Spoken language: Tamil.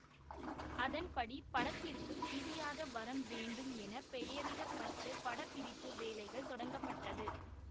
அதன்படி படத்திற்கு பிரியாத வரம் வேண்டும் என பெயரிடப்பட்டு படப்பிடிப்பு வேலைகள் தொடங்கப்பட்டது